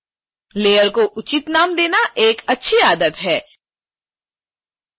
लेयरों को उचित नाम देना एक अच्छी आदत है